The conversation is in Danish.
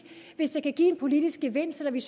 den